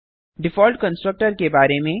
default constructor के बारे में